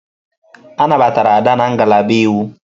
A nabatara Ada na ngalaba Iwu.